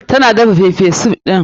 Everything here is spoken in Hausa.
Tana daga pepper soup ɗin.